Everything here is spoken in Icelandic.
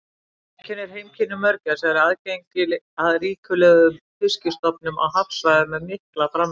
Það sem einkennir heimkynni mörgæsa er aðgengi að ríkulegum fiskistofnum á hafsvæðum með mikla framleiðni.